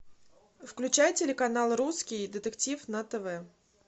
включай телеканал русский детектив на тв